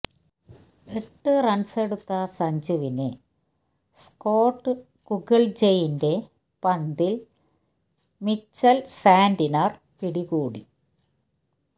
എട്ട് റണ്സെടുത്ത സഞ്ജുവിനെ സ്കോട്ട് കുഗള്ജെയിന്റെ പന്തില് മിച്ചല് സാന്റ്നര് പിടികൂടി